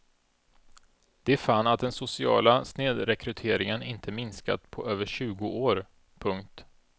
De fann att den sociala snedrekryteringen inte minskat på över tjugo år. punkt